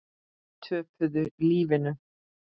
Töpuðu lífinu.